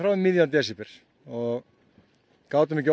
um miðjan desember gátum ekki